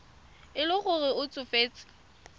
e le gore o tsofetse